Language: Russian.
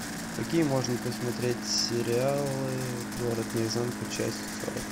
какие можно посмотреть сериалы город наизнанку часть сорок